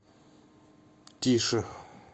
тише